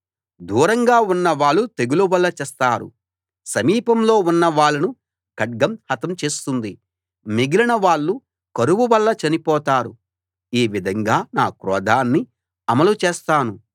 దూరంగా ఉన్నవాళ్ళు తెగులు వల్ల చస్తారు సమీపంలో ఉన్నవాళ్ళను ఖడ్గం హతం చేస్తుంది మిగిలిన వాళ్ళు కరువు వల్ల చనిపోతారు ఈ విధంగా నా క్రోధాన్ని అమలు చేస్తాను